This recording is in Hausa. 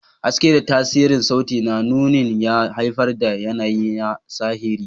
Haske da tasirin sauti na nunin ya haifar da yanayi na sihiri.